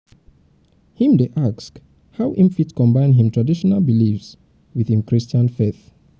im dey ask how im fit combines im traditional beliefs wit im christian faith.